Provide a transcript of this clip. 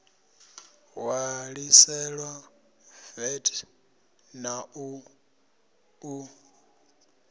ṋwaliselwa vat na u ṱu